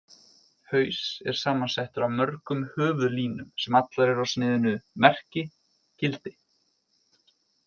Haus er samansettur af mörgum höfuðlínum, sem allar eru á sniðinu Merki: gildi.